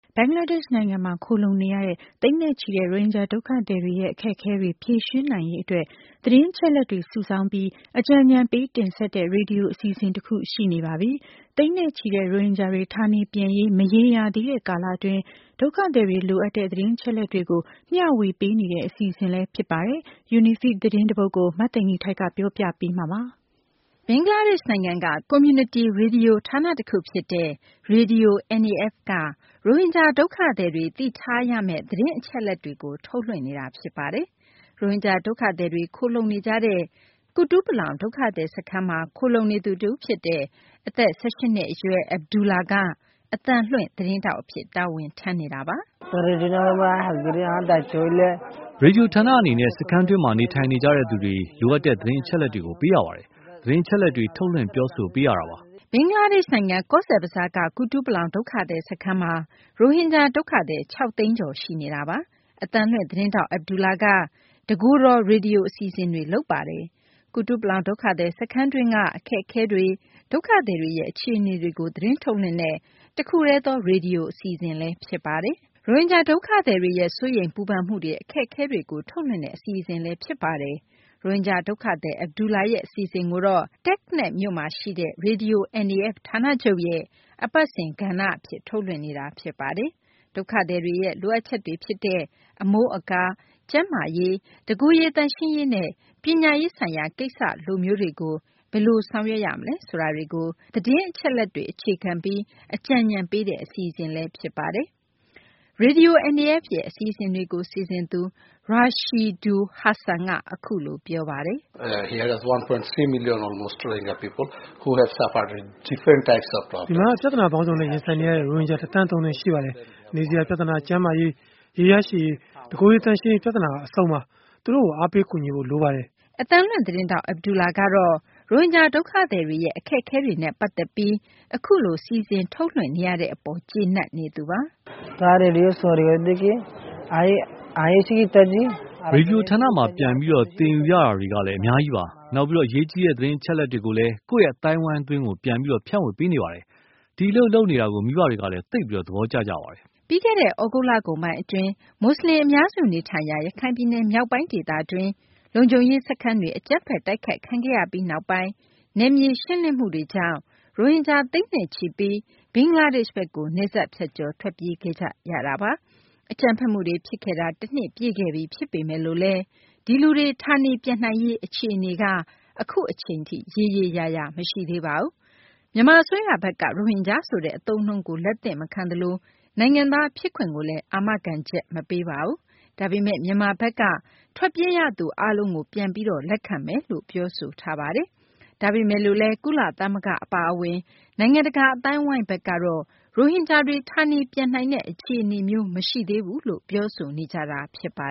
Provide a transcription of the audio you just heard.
ဘင်္ဂလားဒေရှ့်နိုင်ငံမှာ ခိုလှုံနေရတဲ့ သိန်းနဲ့ချီတဲ့ ရိုဟင်ဂျာ ဒုက္ခသည်တွေရဲ့ အခက်အခဲတွေ ဖြေရှင်းနိုင်ရေး အတွက် သတင်းအချက်အလက်တွေ စုဆောင်းပြီး အကြံညဏ်ပေး တင်ဆက်တဲ့ ရေဒီယို အစီအစဉ် တခု ရှိနေပါပြီ။ သိန်းနဲ့ချီတဲ့ ရိုဟင်ဂျာတွေ ဌာနေပြန်ရေး မရေရာသေးတဲ့ ကာလအတွင်း ဒုက္ခသည်တွေ လိုအပ်တဲ့ သတင်းအချက်အလက်တွေကို မျှဝေပေးနေတဲ့ အစီအစဉ်လည်း ဖြစ်ပါတယ်။ UNIFEED သတင်းတပုဒ်ကို မသိင်္ဂ ီထိုက် ပြောပြပေးမှာပါ။ ဘင်္ဂလားဒေရှ့်နိုင်ငံက ကွန်မြူနတီ ရေဒီယို ဌာန တခုဖြစ်တဲ့ Radio NAF က ရိုဟင်ဂျာ ဒုက္ခသည်တွေ သိထားရမယ့် သတင်းအချက်အလက်တွေကို ထုတ်လွှင့်နေတာ ဖြစ်ပါတယ်။ ရိုဟင်ဂျာ ဒုက္ခသည်တွေ ခိုလှုံနေကြတဲ့ ကုတုပလောင် ဒုက္ခသည် စခန်းမှာ ခိုလှုံနေသူ တဦးဖြစ်တဲ့ အသက် ၁၈ နှစ် အရွယ်Abdullah က အသံလွှင့် သတင်းထောက် အဖြစ် တာဝန်ထမ်းနေတာပါ။ "ရေဒီယို ဌာန အနေနဲ့ စခန်းတွင်းမှာ နေထိုင်နေကြတဲ့သူတွေ လိုအပ်တဲ့ သတင်းအချက်အလက်တွေကို ပေးရပါတယ်။ သတင်းအချက်အလက်တွေ ထုတ်လွှင့် ပြောဆိုပေးရတာပါ။" ဘင်္ဂလားဒေရှ့်နိုင်ငံ ကောဇ်ဘဇားက ကုတုပလောင် ဒုက္ခသည် စခန်းမှာ ရိုဟင်ဂျာ ဒုက္ခသည် ၆ သိန်းကျော် ရှိနေတာပါ။ အသံလွှင့် သတင်းထောက် Abdullah က တကိုယ်တော် ရေဒီယို အစီအစဉ်တွေ လုပ်တာပါ။ ကုတုပလောင် ဒုက္ခသည် စခန်းတွင်းက အခက်အခဲတွေ ဒုက္ခသည်တွေ အခြေအနေကို သတင်းထုတ်လွှင့်တဲ့ တခုတည်းသော ရေဒီယို အစီအစဉ်လည်း ဖြစ်ပါတယ်။ ရိုဟင်ဂျာ ဒုက္ခသည်တွေရဲ့ စိုးရိမ်ပူပန်မှုတွေ အခက်အခဲတွေကို ထုတ်လွှင့်တဲ့ အစီအစဉ်လည်း ဖြစ်ပါတယ်။ ရိုဟင်ဂျာ ဒုက္ခသည် Abdullah ရဲ့ အစီအစဉ်ကိုတော့ TekNaf မြို့မှာ ရှိတဲ့ Radio NAF ဌာနချုပ်ရဲ့ အပတ်စဉ် ကဏ္ဍ အဖြစ် ထုတ်လွှင့်နေတာပါ။ ဒုက္ခသည်တွေရဲ့ လိုအပ်ချက်တွေ ဖြစ်တဲ့ အမိုးအကာ၊ ကျန်းမာရေး၊ တကိုယ်ရေး သန့်ရှင်းရေးနဲ့ ပညာရေးဆိုင်ရာ လိုမျိုး ကိစ္စတွေကို ဘယ်လို ဆောင်ရွက်ရမလဲ ဆိုတာတွေကို သတင်းအချက်အလက်တွေ အခြေခံပြီး အကြံညဏ်ပေးတဲ့ အစီအစဉ် ဖြစ်ပါတယ်။ Radio NAF ရဲ့ အစီအစဉ်တွေကို စီစဉ်သူ Rashidul Hasan က အခုလို ပြောပါတယ်။ "ဒီမှာက ပြသနာပေါင်းစုံနဲ့ ရင်ဆိုင်နေရတဲ့ ရိုဟင်ဂျာ ၁ သန်း ၃ သိန်း ရှိပါတယ်။ နေစရာ ပြသနာ၊ ကျန်းမာရေး၊ ရေရရှိရေး၊ တကိုယ်ရေ သန့်ရှင်းရေး ပြသနာက အစုံပါဘဲ။ သူတို့ကို အားပေး ကူညီပေးဖို့ လိုနေတာပါ။" အသံလွှင့် သတင်းထောက် Abdullah ကတော့ ရိုဟင်ဂျာ ဒုက္ခသည်တွေရဲ့ အခက်အခဲတွေနဲ့ ပတ်သက်ပြီးအခုလို စီစဉ်ထုတ်လွှင့်နေရတဲ့ အပေါ် ကျေနပ်နေသူပါ။ "ရေဒီယို ဌာနမှာ ပြန်ပြီး သင်ယူရတာတွေလည်း အများကြီးပါ။ နောက် အရေးကြီး သတင်းအချက်အလက်တွေကိုလည်း ကိုယ့် အသိုင်းအဝိုင်းတွင်း ပြန်ပြီး ဖြန့်ဝေပေးနေပါတယ်။ ဒီအလုပ်လုပ်နေတာကို မိဘတွေကလည်း သိပ် သဘောကျကြပါတယ်။" ပြီးခဲ့တဲ့နှစ် သြဂုတ်လကုန်ပိုင်းအတွင်း မူဆလင် အများစု နေထိုင်ရာ ရခိုင်ပြည်နယ် မြောက်ပိုင်း ဒေသတွင်းက လုံခြုံရေး စခန်းတွေ အကြမ်းဖက် တိုက်ခိုက်ခံခဲ့ရပြီးနောက်ပိုင်း နယ်မြေ ရှင်းလင်းမှုတွေ အတွင်း ရိုဟင်ဂျာ သိန်းနဲ့ချီပြီး ဘင်္ဂလားဒေရှ့်ဘက်ကို နယ်စပ်ဖြတ်ကျော် ထွက်ပြေးခဲ့ကြရတာပါ။ အကြမ်းဖက်မှုတွေ ဖြစ်ခဲ့တာ တနှစ်ပြည့်ခဲ့ပြီ ဖြစ်ပေမယ့် ဒီလူတွေ ဌာနေပြန်နိုင်ရေး အခြေအနေကလည်း အခုအချိန်ထိ ရေရေရာရာ မရှိသေးပါဘူး။မြန်မာ အစိုးရဘက်က ရိုဟင်ဂျာ ဆိုတဲ့ အသုံးအနှုန်းကို လက်မခံသလို နိုင်ငံသား ဖြစ်ခွင့်ကိုလည်း အာမခံချက် မပေးပါဘူး။ ဒါပေမယ့် မြန်မာဘက်က ထွက်ပြေးရသူ အားလုံးကို ပြန်ပြီး လက်ခံမယ်လို့ ပြောဆိုထားပါတယ်။ ဒါပေမယ့် ကုလသမဂ္ဂ အပါအဝင် နိုင်ငံတကာ အသိုင်းအဝိုင်းဘက်ကတော့ ရိုဟင်ဂျာတွေ ဌာနေပြန်နိုင်တဲ့ အခြေအနေမျိုး မရှိသေးဘူးလို့ ပြောဆိုနေကြတာပါ